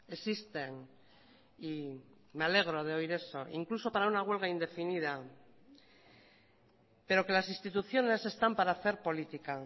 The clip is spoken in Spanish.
existen y me alegro de oír eso incluso para una huelga indefinida pero que las instituciones están para hacer política